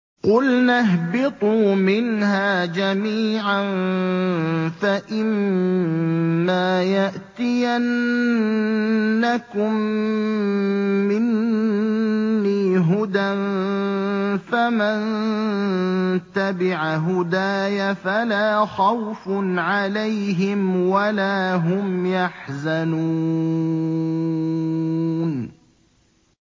قُلْنَا اهْبِطُوا مِنْهَا جَمِيعًا ۖ فَإِمَّا يَأْتِيَنَّكُم مِّنِّي هُدًى فَمَن تَبِعَ هُدَايَ فَلَا خَوْفٌ عَلَيْهِمْ وَلَا هُمْ يَحْزَنُونَ